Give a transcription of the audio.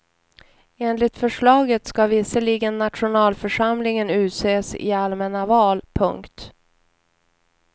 Enligt förslaget ska visserligen nationalförsamlingen utses i allmänna val. punkt